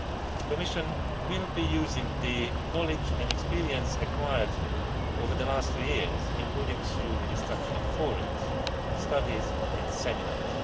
The Commission will be using the knowledge and experience acquired over the past few years, including through the Restructuring Forums, studies and seminars.